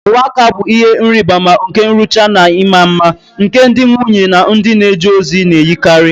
Uwe aka bụ ihe nrịbama nke nrụcha na ịma mma, nke ndị nwunye na ndị na-eje ozi na-eyikarị.